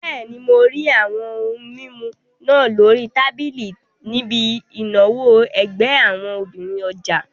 Bẹ́ẹ̀ni, mo rí àwọn ohun mímu náà lórí tábìlì níbi ìnáwó ẹgbẹ́ àwọn obìnrin ọjà